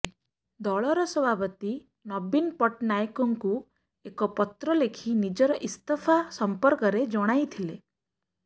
ଦଳର ସଭାପତି ନବୀନ ପଟ୍ଟନାୟକଙ୍କୁ ଏକ ପତ୍ର ଲେଖି ନିଜର ଇସ୍ତଫା ସମ୍ପର୍କରେ ଜଣାଇଥିଲେ